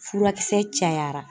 Furakisɛ cayara